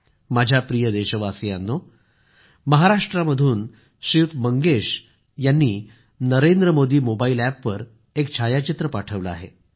माझ्या प्रिय देशवासियांनो महाराष्ट्रमधून श्रीयुत मंगेश यांनी नरेंद्र मोदी मोबाईल अॅपवर एक छायाचित्र पाठवलं आहे